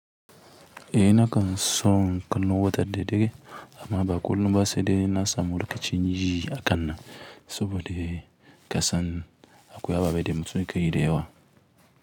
Eh na kan son kallon wutan dare amma ba kullum ba sai dai in na samu lokacin yi hakannan saboda kasan akwai ababe da mutum yake yi da yawa.